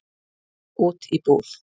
Út í búð?